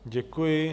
Děkuji.